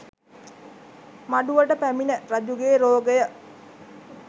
මඩුවට පැමිණ රජුගේ රෝගය